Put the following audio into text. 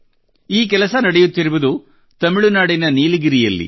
ಈ ಕೆಲಸ ನಡೆಯುತ್ತಿರುವುದು ತಮಿಳುನಾಡಿನ ನೀಲಗಿರಿಯಲ್ಲಿ